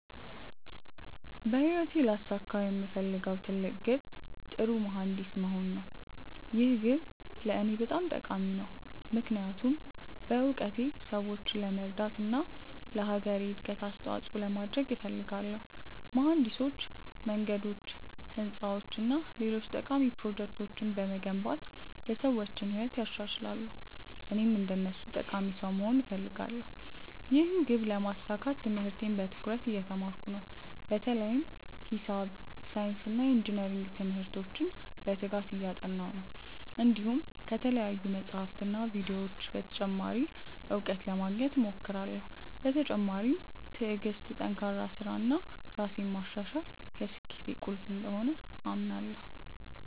በህይወቴ ላሳካው የምፈልገው ትልቅ ግብ ጥሩ መሀንዲስ መሆን ነው። ይህ ግብ ለእኔ በጣም ጠቃሚ ነው፣ ምክንያቱም በእውቀቴ ሰዎችን ለመርዳት እና ለአገሬ እድገት አስተዋፅኦ ለማድረግ እፈልጋለሁ። መሀንዲሶች መንገዶች፣ ህንፃዎች እና ሌሎች ጠቃሚ ፕሮጀክቶችን በመገንባት የሰዎችን ህይወት ያሻሽላሉ፣ እኔም እንደነሱ ጠቃሚ ሰው መሆን እፈልጋለሁ። ይህን ግብ ለማሳካት ትምህርቴን በትኩረት እየተማርኩ ነው፣ በተለይም ሂሳብ፣ ሳይንስ እና ኢንጅነሪንግ ትምህርቶችን በትጋት እያጠናሁ ነው። እንዲሁም ከተለያዩ መጻሕፍትና ቪዲዮዎች ተጨማሪ እውቀት ለማግኘት እሞክራለሁ። በተጨማሪም ትዕግሥት፣ ጠንካራ ሥራ እና ራሴን ማሻሻል የስኬቴ ቁልፍ እንደሆኑ አምናለሁ።